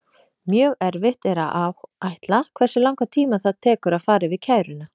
Mjög erfitt er að áætla hversu langan tíma það tekur að fara yfir kæruna.